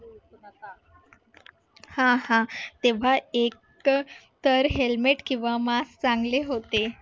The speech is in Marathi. हा हा तेव्हा एकतर hemlet किंवा mask चांगले होते